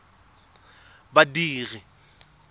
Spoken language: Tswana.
badiri